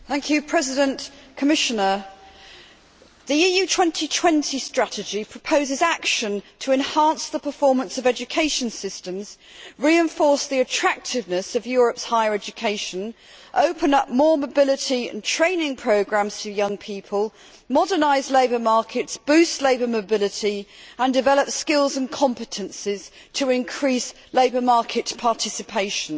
Mr President, the EU 2020 strategy proposes action to enhance the performance of education systems, reinforce the attractiveness of Europe's higher education, open up more mobility and training programmes for young people, modernise labour markets, boost labour mobility and develop skills and competences to increase labour market participation.